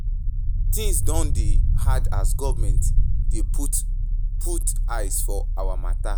Tins don dey hard as government dey put put eye for our mata.